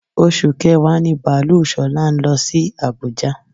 Oṣù kẹ̀wá ní baalú Ṣọlá ń lọ sí àbújá.